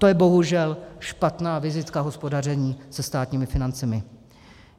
To je bohužel špatná vizitka hospodaření se státními financemi.